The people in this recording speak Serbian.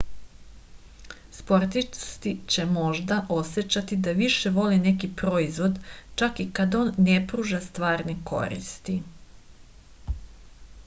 sportisti će možda osećati da više vole neki proizvod čak i kad on ne pruža stvarne koristi